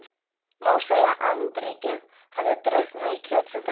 Má segja að andríkið hafi drukknað í kjötsúpunni.